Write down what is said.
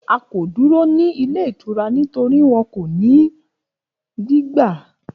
A ko duro ni ile itura nitori wọn ko ni gbigba